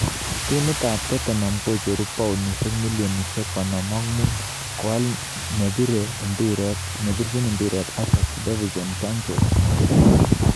Timit ab Tottenham kocheru paunishek milionishek konom ak mut koal neribei mpiret Ajax Dvinson Sanchez.